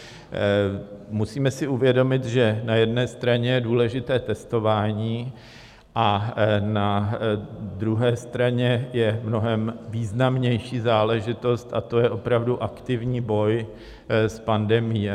Musíme si uvědomit, že na jedné straně je důležité testování, a na druhé straně je mnohem významnější záležitost a to je opravdu aktivní boj s pandemií.